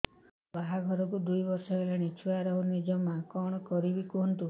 ମୋ ବାହାଘରକୁ ଦୁଇ ବର୍ଷ ହେଲାଣି ଛୁଆ ରହୁନି ଜମା କଣ କରିବୁ କୁହନ୍ତୁ